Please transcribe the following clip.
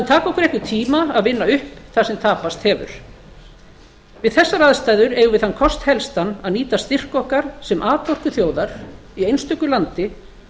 taka okkur einhvern tíma að vinna upp það sem tapast hefur við þessar aðstæður eigum við þann kost helstan að nýta styrk okkar sem atorkuþjóðar í essntöku landi